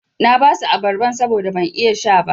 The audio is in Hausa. Na basu abarban saboda ban iya sha ba.